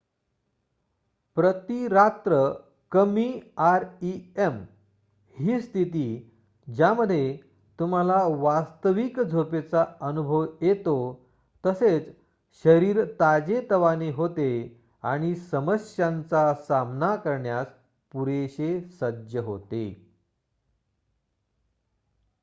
प्रती रात्र कमी आरइएम ही स्थिती ज्यामध्ये तुम्हाला वास्तविक झोपेचा अनुभव येतो तसेच शरीर ताजेतवाने होते आणि समस्यांचा सामना करण्यास पुरेशे सज्ज होते